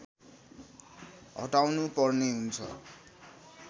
हटाउनुपर्ने हुन्छ